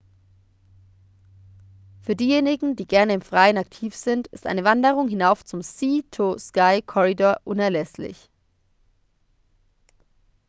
für diejenigen die gerne im freien aktiv sind ist eine wanderung hinauf zum sea-to-sky-corridor unerlässlich